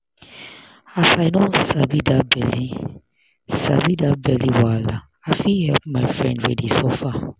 as i don sabi that belle sabi that belle wahala i fit help my friend wey dey suffer.